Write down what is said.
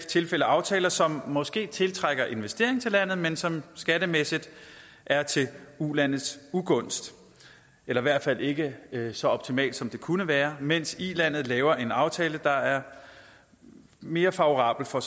tilfælde aftaler som måske tiltrækker investeringer til landet men som skattemæssigt er til ulandets ugunst eller i hvert fald ikke så optimalt som det kunne være mens ilandet laver en aftale der er mere favorabel for